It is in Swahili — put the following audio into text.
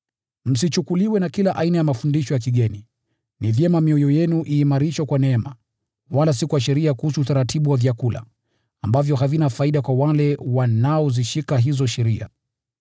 Msichukuliwe na kila aina ya mafundisho ya kigeni. Ni vyema mioyo yenu iimarishwe kwa neema, wala si kwa sheria kuhusu utaratibu wa vyakula, ambavyo havina faida kwa wale wanaozishika hizo sheria.